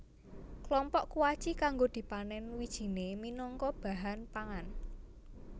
Klompok kuaci kanggo dipanèn wijiné minangka bahan pangan